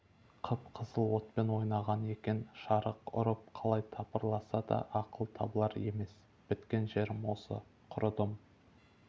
қып-қызыл отпен ойнаған екен шарық ұрып қалай тыпырласа да ақыл табылар емес біткен жерім осы құрыдым